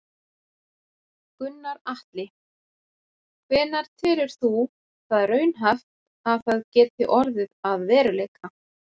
Gunnar Atli: Hvenær telur þú það raunhæft að það geti orðið að veruleika?